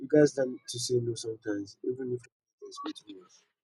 we gats learn to say no sometimes even if family dey expect too much